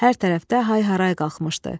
Hər tərəfdə hay-haray qalxmışdı.